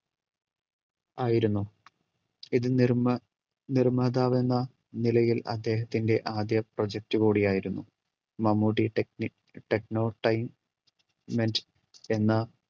ആയിരുന്നു ഇത് നിർമ്മ നിർമ്മാതാവ് എന്ന നിലയിൽ അദ്ദേഹത്തിൻറെ ആദ്യ project കൂടിയായിരുന്നു Mammootty technic techno time ment എന്ന